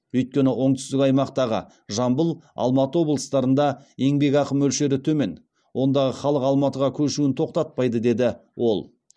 өйткені оңтүстік аймақтағы жамбыл алматы облыстарында еңбекақы мөлшері төмен ондағы халық алматыға көшуін тоқтатпайды деді ол